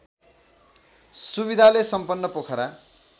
सुविधाले सम्पन्न पोखरा